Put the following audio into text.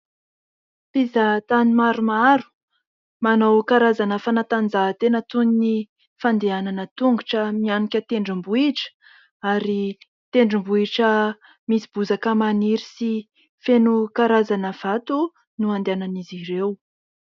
Mpizaha-tany maromaro, manao karazana fanatanjahan-tena toy ny fandehanana an-tongotra mihanika tendrom-bohitra ary tendrom-bohitra misy bozaka maniry sy feno karazana vato no andehanan'izy ireo.